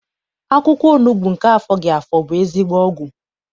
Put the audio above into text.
Akwụkwọ onugbu nke afọghị afọ bụ ezigbo ọgwụ.